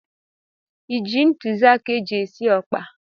Iji ntụziaka eji esi ọkpa?